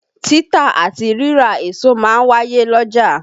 Títà àti rírà èso ma ń wáyé l'ọ́jà.